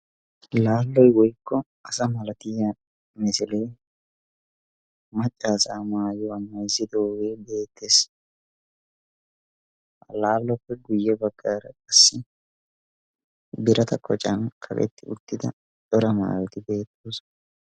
Laallo woykko asa milatiyaa misilee macca asaa maayuwaa maayizidoogee beettees. ha laalloppe guye baggaara qassi birata koccan kaqetti uttida cora maayoti beettoosona.